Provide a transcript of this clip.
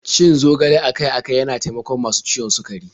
Cin zogale akai-akai yana taimakon masu ciwon sukari.